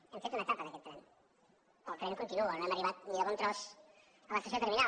hem fet una etapa d’aquest tren però el tren continua no hem arribat ni de bon tros a l’estació terminal